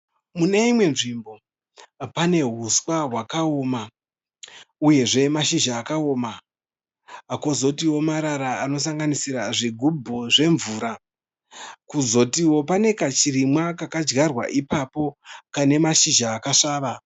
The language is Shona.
Mune imwe nzvimbo pane huswa hwakaoma uyezve mashizha akaoma, kozotiwo marara anosanganisira zvigubhu zvemvura. K ozotiwo pane kachirimwa kakajarwa ipapo kane mashizha akasvava.